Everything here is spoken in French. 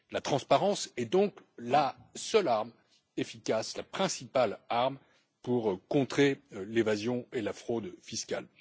La transparence est donc la seule arme efficace, la principale arme pour contrer l'évasion et la fraude fiscales.